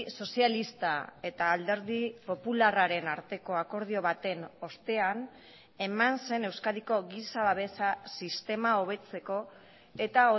sozialista eta alderdi popularraren arteko akordio baten ostean eman zen euskadiko giza babesa sistema hobetzeko eta